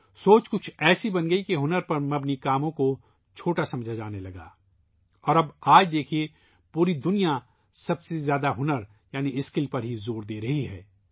اب کچھ ایسی سوچ بن گئی ہے کہ ہنر پر مبنی کام کو چھوٹا سمجھا جانے لگا ہے اور آج دیکھیئے ، پوری دنیا ، سب سے زیادہ ہنر یعنی اسکل پر ہی زور دے رہی ہے